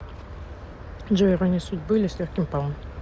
джой ирония судьбы или с легким паром